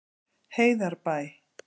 Heiðarbæ